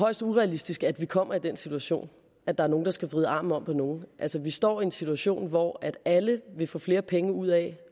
højst urealistisk at vi kommer i den situation at der er nogen der skal vride armen om på nogen vi står i en situation hvor alle vil få flere penge ud af